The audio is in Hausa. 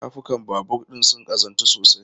Tafukan babur ɗin sun ƙazantu sosai.